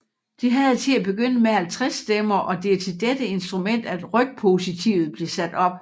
Det havde til at begynde med 50 stemmer og det er til dette instrument at rygpositivet blev sat op